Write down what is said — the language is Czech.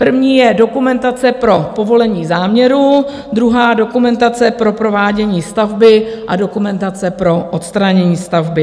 První je dokumentace pro povolení záměru, druhá dokumentace pro provádění stavby a dokumentace pro odstranění stavby.